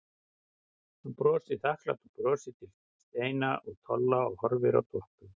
Hann brosir þakklátu brosi til Steina og Tolla og horfir á Doppu.